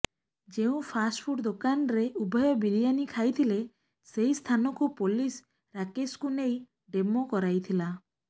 ଯେଉଁ ଫାଷ୍ଟପୁଡ୍ ଦୋକାନରେ ଉଭୟ ବିରିଆନି ଖାଇଥିଲେ ସେହି ସ୍ଥାନକୁ ପୋଲିସ ରାକେଶକୁ ନେଇ ଡେମୋ କରାଇଥିଲା